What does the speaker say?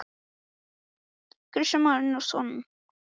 Kristján Már Unnarsson: Gæti þetta leitt til eldgoss?